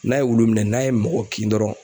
N'a ye wulu minɛn n'a ye mɔgɔ kin dɔrɔn